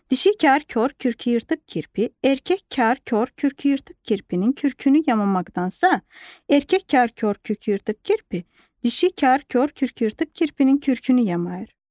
Dişi kar kor kürkü yırtıq kirpi, erkək kar kor kürkü yırtıq kirpinin kürkünü yamamaqdansa, erkək kar kor kürkü yırtıq kirpi, dişi kar kor kürkü yırtıq kirpinin kürkünü yamayır.